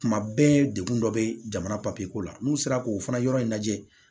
Kuma bɛɛ dekun dɔ bɛ jamana ko la n'u sera k'o fana yɔrɔ in lajɛ